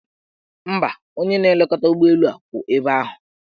Mba, onye na-elekọta ụgbọelu kwụ ebe ahụ.